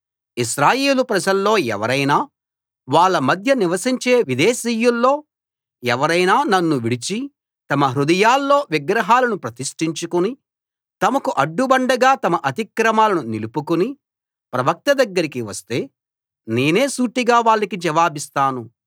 ఇశ్రాయేలు ప్రజల్లో ఎవరైనా వాళ్ళ మధ్య నివసించే విదేశీయుల్లో ఎవరైనా నన్ను విడిచి తమ హృదయాల్లో విగ్రహాలను ప్రతిష్టించుకుని తమకు అడ్డుబండగా తమ అతిక్రమాలను నిలుపుకుని ప్రవక్త దగ్గరికి వస్తే నేనే సూటిగా వాళ్ళకి జవాబిస్తాను